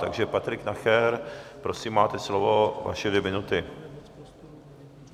Takže Patrik Nacher, prosím, máte slovo, vaše dvě minuty.